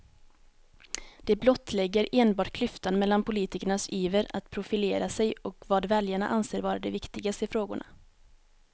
Det blottlägger enbart klyftan mellan politikernas iver att profilera sig och vad väljarna anser vara de viktigaste frågorna.